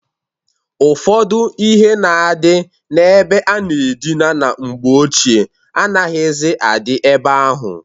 Ụfọdụ ihe na-adị na-ebe a na-adina na mgbe ochie anaghịzị adị ebe ahụ.